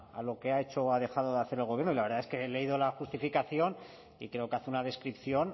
a lo que ha hecho o ha dejado de hacer el gobierno y la verdad es que he leído la justificación y creo que hace una descripción